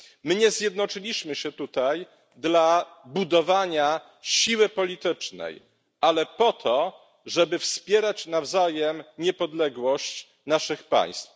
Nie zjednoczyliśmy się tutaj dla budowania siły politycznej, ale po to, żeby wspierać nawzajem niepodległość naszych państw.